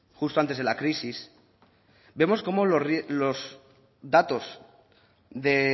justo antes de la crisis vemos cómo los datos de